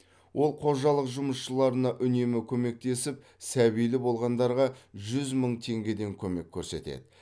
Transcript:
ол қожалық жұмысшыларына үнемі көмектесіп сәбилі болғандарға жүз мың теңгеден көмек көрсетеді